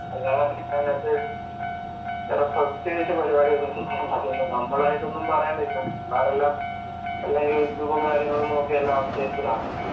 അല്ലാതെ വേറെ പ്രത്യേകിച്ച് പരിപാടിയൊന്നും ചെയ്യണ്ട. പിന്നെ നമ്മളായിട്ടൊന്നും പറയാൻ നിക്കണ്ട. പിള്ളാരെല്ലാം എല്ലാം, എല്ലാം യൂട്യൂബും കാര്യങ്ങളും നോക്കി എല്ലാം അപ്ഡേറ്റഡ് ആണ്.